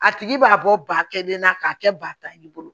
A tigi b'a bɔ ba kelen na k'a kɛ ba ta ye i bolo